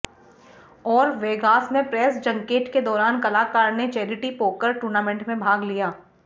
और वेगास में press junket के दौरान कलाकार ने चैरिटी पोकर टूर्नामेंट में भाग लिया